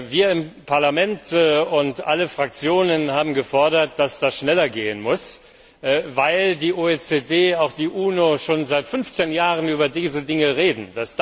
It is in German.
Wir im Parlament und alle Fraktionen haben gefordert, dass das schneller gehen muss, weil die OECD und die UNO schon seit 15 Jahren über diese Dinge reden.